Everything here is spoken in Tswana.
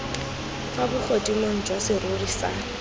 fa bogodimo jwa serori sa